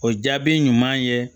O jaabi ɲuman ye